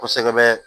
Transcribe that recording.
Kosɛbɛ